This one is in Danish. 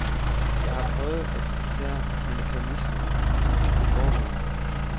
Jeg har prøvet at skitsere mekanismerne i det foregående.